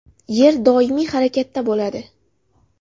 Yer doimiy harakatda bo‘ladi.